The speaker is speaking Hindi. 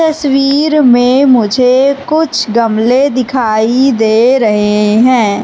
तस्वीर में मुझे कुछ गमले दिखाई दे रहे हैं।